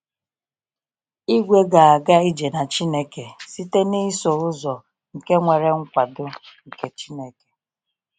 Igwe ‘gāga ije na Chineke’ site n’iso ụzọ nke nwere nkwado nke Chineke.